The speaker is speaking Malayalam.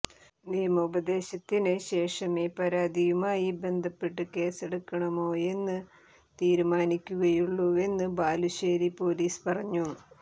നിയമോപദേശത്തിന് ശേഷമേ പരാതിയുമായി ബന്ധപ്പെട്ട് കേസെടുക്കണമോയെന്ന് തീരുമാനിക്കുകയുള്ളൂവെന്ന് ബാലുശ്ശേരി പൊലീസ് പറഞ്ഞു